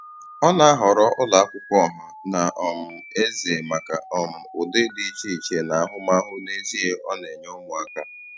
Ọ na-ahọrọ ụlọ akwụkwọ ọha na um eze maka um ụdị dị iche iche na ahụmahụ n'ezie ọ na-enye ụmụaka.